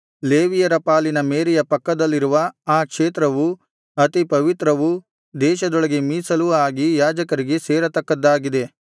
ಲೇವಿಯರ ಪಾಲಿನ ಮೇರೆಯ ಪಕ್ಕದಲ್ಲಿರುವ ಆ ಕ್ಷೇತ್ರವು ಅತಿ ಪವಿತ್ರವೂ ದೇಶದೊಳಗೆ ಮೀಸಲೂ ಆಗಿ ಯಾಜಕರಿಗೆ ಸೇರತಕ್ಕದ್ದಾಗಿದೆ